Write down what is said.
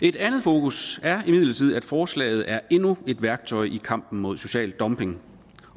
et andet fokus er imidlertid at forslaget er endnu et værktøj i kampen mod social dumping